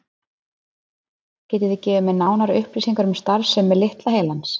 Getið þið gefið mér nánari upplýsingar um starfsemi litla heilans?